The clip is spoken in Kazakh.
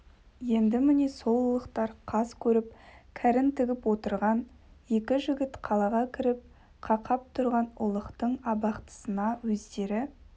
енді міне сол ұлықтар қас көріп кәрін тігіп отырған екі жігіт қалаға кіріп қақап тұрған ұлықтың абақтысына өздері